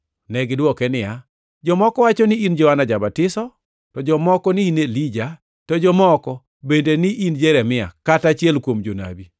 Negidwoke niya, “Jomoko wacho ni in Johana ja-Batiso, to jomoko ni in Elija, to jomoko bende ni in Jeremia, kata achiel kuom jonabi.”